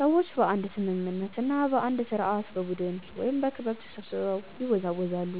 ሰዎች በአንድ ስምምነት እና በአንድ ስርዓት በቡድን ወይም በክብ ተሰብስበው ይወዛወዛሉ።